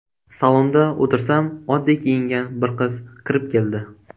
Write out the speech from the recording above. Salonda o‘tirsam, oddiy kiyingan bir qiz kirib keldi.